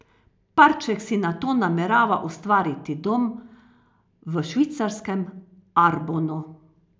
Parček si nato namerava ustvariti dom v švicarskem Arbonu.